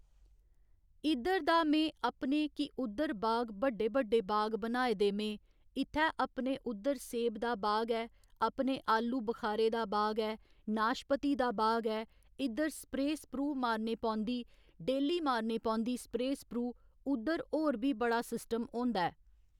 इद्धर दा में अपने कि उद्धर बाग बड्डे बड्डे बाग बनाए दे में इत्थै अपने उद्धर सेब दा बाग ऐ अपने आलू बखारे दा बाग ऐ नाशपती दा बाग ऐ इद्धर स्प्रे स्प्रू मारने पौंदी डेह्‌ल्ली मारनी पौंदी स्प्रे स्प्रू उद्धर होर बी बड़ा सिस्टम होंदा ऐ